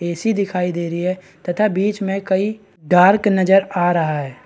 AC. दिखाई दे रही है तथा बिच में कई डार्क नजर आ रहा है |